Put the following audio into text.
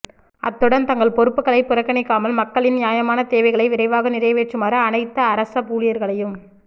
அத்துடன் தங்கள் பொறுப்புகளை புறக்கணிக்காமல் மக்களின் நியாயமான தேவைகளை விரைவாக நிறைவேற்றுமாறு அனைத்து அரச ஊழியர்களையும்